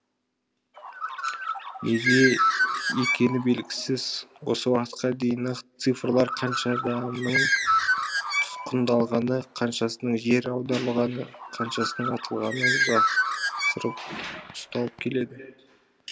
неге екені белгісіз осы уақытқа дейін нақты цифрлар қанша адамның тұтқындалғаны қаншасының жер аударылғаны қаншасының атылғаны жасырып ұсталып келеді